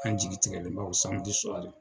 An jigi tigɛlenba o